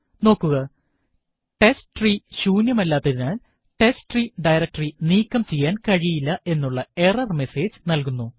നോക്കുക ടെസ്റ്റ്രീ ശൂന്യമല്ലാത്തതിനാൽ ടെസ്ട്രീ ഡയറക്ടറി നീക്കം ചെയ്യാൻ കഴിയില്ല എന്നുള്ള എറർ മെസേജ് നല്കുന്നു